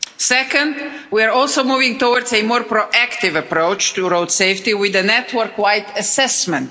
Second, we are also moving towards a more proactive approach to road safety with a network wide assessment.